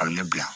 A bɛ ne bila